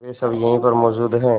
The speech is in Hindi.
वे सब यहीं पर मौजूद है